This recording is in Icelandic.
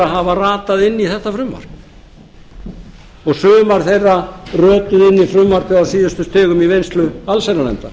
hafa ratað inn í þetta frumvarp sumar þeirra rötuðu inn í frumvarpið á síðustu stigum í vinnslu allsherjarnefndar